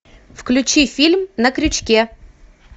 включи фильм на крючке